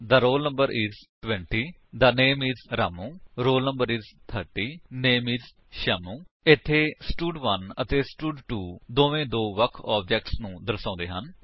the roll no is 20 the name is Ramu roll no is 30 name is Shyamu ਇੱਥੇ ਸਟਡ1 ਅਤੇ ਸਟਡ2 ਦੋਵੇ ਦੋ ਵੱਖ ਆਬਜੇਕਟਸ ਨੂੰ ਦਰਸਾਉਂਦੇ ਹਨ